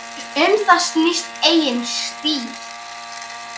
Um það snýst eigin stíll.